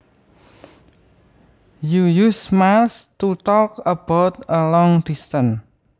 You use miles to talk about a long distance